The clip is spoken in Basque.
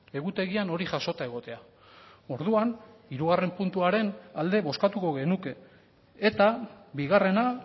egutegian hori jasota egotea orduan hirugarren puntuaren alde bozkatuko genuke eta bigarrena